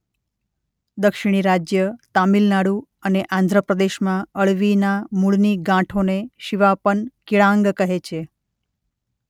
દક્ષીણી રાજ્ય તામિલનાડુ અને આંધ્ર પ્રદેશમાં અળવીના મૂળની ગાંઠોને શિવાપન-કિળાંગ કહે છે.